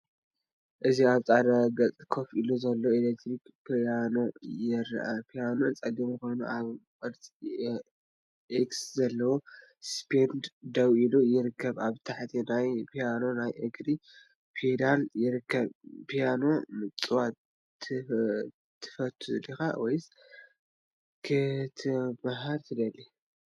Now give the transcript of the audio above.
እዚ ኣብ ጻዕዳ ገጽ ኮፍ ኢሉ ዘሎ ኤሌክትሪክ ፒያኖ የርኢ። ፒያኖ ጸሊም ኮይኑ ኣብ ቅርጺ ኤክስ ዘለዎ ስቴንድ ደው ኢሉ ይርከብ። ኣብ ታሕቲ ናይቲ ፒያኖ ናይ እግሪ ፔዳል ይርከብ። ፒያኖ ምጽዋት ትፈቱ ዲኻ? ወይስ ክትመሃር ትደሊ?